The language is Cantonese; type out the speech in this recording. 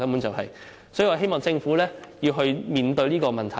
所以，我希望政府面對這個問題。